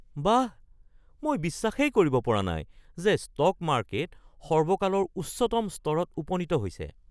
বাহ, মই বিশ্বাসেই কৰিব পৰা নাই যে ষ্টক মাৰ্কেট সৰ্বকালৰ উচ্চতম স্তৰত উপনীত হৈছে!